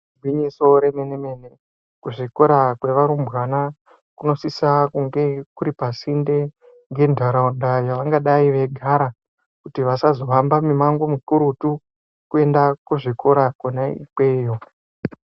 Igwinyiso remene mene kuzvikora zvevarumbwana kunosise kunge kuripasinde nentaraunda yevanngadai veigara kuti vasazohamba mimango mikurutu kuenda kuzvikora kona ikweyo.